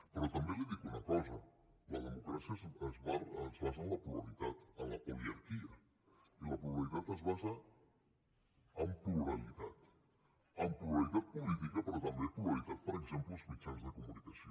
però també li dic una cosa la democràcia es basa en la pluralitat en la poliarquia i la pluralitat es basa en pluralitat en pluralitat política però també pluralitat per exemple als mitjans de comunicació